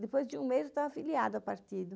Depois de um mês eu estava afiliada ao partido.